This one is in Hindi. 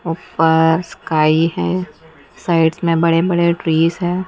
ऊपर स्काई है साइड में बड़े बड़े ट्रीस है।